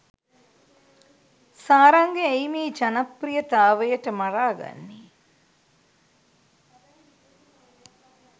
සාරංග ඇයි මේ ජනප්‍රියතාවයට මරාගන්නේ?.